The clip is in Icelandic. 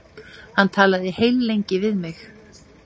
Hann talaði heillengi við mig.